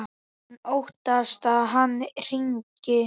Hún óttast að hann hringi.